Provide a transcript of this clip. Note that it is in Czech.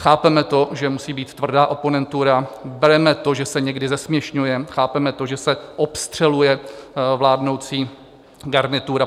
Chápeme to, že musí být tvrdá oponentura, bereme to, že se někdy zesměšňujeme, chápeme to, že se obstřeluje vládnoucí garnitura.